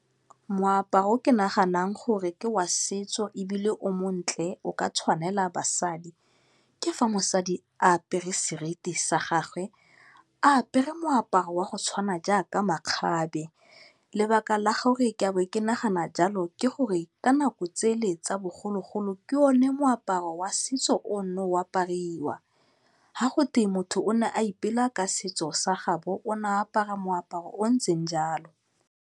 Moaparo o ke naganang gore ke wa setso ebile o montle o ka tshwanela basadi, ke fa mosadi a apere seriti sa gagwe, a apere moaparo wa go tshwana jaaka makgabe. Lebaka la gore ke bo ke nagana jalo ke gore ka nako tsele tsa bogologolo, ke one moaparo wa setso o o neng o apariwa. Fa gotwe motho o ne a ipela ka setso sa gaabo, o ne a apara moaparo o o ntseng jalo.